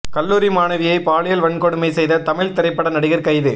கல்லூரி மாணவியை பாலியல் வன்கொடுமை செய்த தமிழ் திரைப்பட நடிகர் கைது